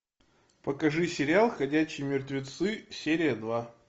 покажи сериал ходячие мертвецы серия два